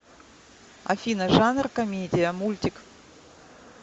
афина жанр комедия мультик